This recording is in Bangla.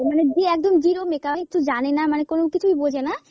মানে যে একদম zero makeup কিচ্ছু জানেনা মানে কোন কিছুই বোঝেনা।